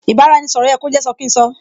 Ì bá-ra-ẹni - sọ̀rọ̀ yẹ kó jẹ́ sọ kín sọ